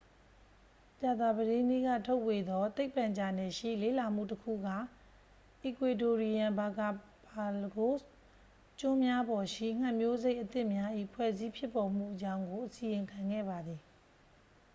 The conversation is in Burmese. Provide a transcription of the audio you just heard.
ကြာသပတေးနေ့ကထုတ်ဝေသော သိပ္ပံဂျာနယ်ရှိ လေ့လာမှုတစ်ခုက အီကွေဒိုရီယန် ဘာကာပါလဂို့စ် ကျွန်းများပေါ်ရှိ ငှက်မျိုးစိတ်အသစ်များ၏ဖွဲ့စည်းဖြစ်ပေါ်မှုအကြောင်းကို အစီရင်ခံခဲ့ပါသည်